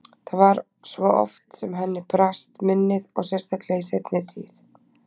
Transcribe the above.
Það var svo oft sem henni brast minnið og sérstaklega í seinni tíð.